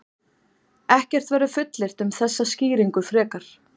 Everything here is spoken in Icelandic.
Ekkert verður fullyrt um þessa skýringu frekar.